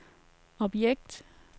objekt